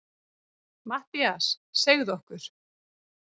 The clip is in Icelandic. MATTHÍAS: Segðu okkur.